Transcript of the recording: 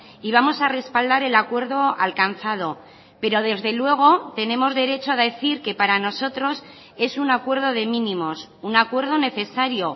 y vamos a respaldar el acuerdo alcanzado pero desde luego tenemos derecho a decir que para nosotros es un acuerdo de mínimos un acuerdo necesario